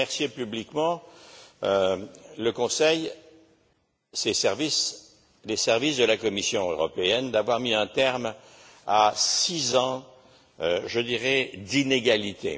Je veux remercier publiquement le Conseil, ses services et ceux de la Commission européenne d'avoir mis un terme à six ans je dirais d'inégalités.